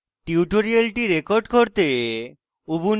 tutorial record করতে